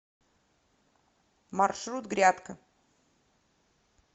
маршрут грядка